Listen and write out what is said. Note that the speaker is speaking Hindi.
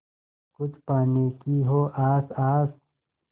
कुछ पाने की हो आस आस